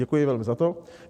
Děkuji velmi za to.